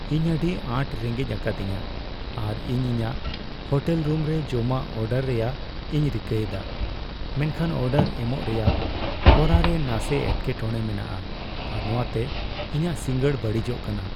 ᱤᱧ ᱟᱹᱰᱤ ᱟᱸᱴ ᱨᱮᱸᱜᱮᱡ ᱟᱠᱟᱫᱤᱧᱟᱹ, ᱟᱨ ᱤᱧ ᱤᱧᱟᱹᱜ ᱦᱳᱴᱮᱞ ᱨᱩᱢᱨᱮ ᱡᱚᱢᱟᱜ ᱚᱰᱟᱨ ᱨᱮᱭᱟᱜ ᱤᱧ ᱨᱤᱠᱟᱹᱭᱮᱫᱟ, ᱢᱮᱱᱠᱷᱟᱱ ᱚᱰᱟᱨ ᱮᱢᱚᱜ ᱨᱮᱭᱟᱜ ᱦᱚᱨᱟᱨᱮ ᱱᱟᱥᱮ ᱮᱴᱠᱮ ᱴᱚᱲᱮ ᱢᱮᱱᱟᱜᱼᱟ, ᱟᱨ ᱱᱚᱶᱟᱛᱮ ᱤᱧᱟᱹᱜ ᱥᱤᱸᱜᱟᱹᱲ ᱵᱟᱹᱲᱤᱡᱚᱜ ᱠᱟᱱᱟ ᱾